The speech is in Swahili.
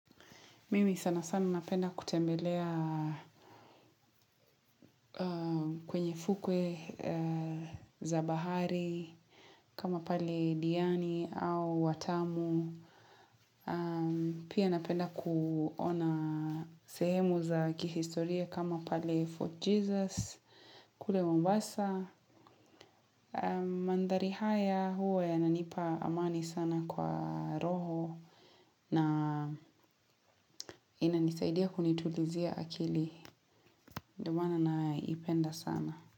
Mimi sana sana napenda kutembelea kwenye fukwe za bahari kama pale diani au watamu. Pia napenda kuona sehemu za kihistoria kama pali Fort Jesus kule mombasa. Mandhari haya huwa yananipa amani sana kwa roho na inanisaidia kunitulizia akili. Ndo maana naipenda sana.